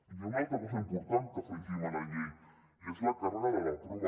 hi ha una altra cosa important que afegim a la llei i és la càrrega de la prova